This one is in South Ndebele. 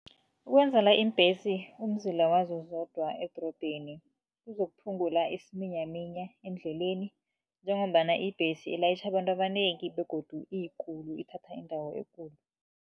Ukwenzela iimbhesi umzila wazo zodwa edorobheni kuzokuphungula isiminyaminya endleleni, njengombana ibhesi ilayitjha abantu abanengi begodu iyikulu, ithatha indawo ekulu.